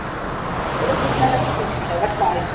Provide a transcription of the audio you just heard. Ekkert óhugnanlegt hvísl eða hvæs.